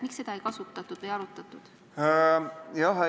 Miks seda ei kasutatud või ei arutatud?